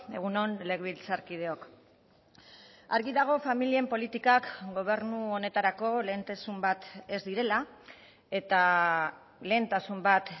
egun on legebiltzarkideok argi dago familien politikak gobernu honetarako lehentasun bat ez direla eta lehentasun bat